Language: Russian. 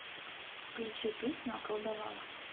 включи песню околдовала